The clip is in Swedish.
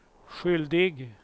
skyldig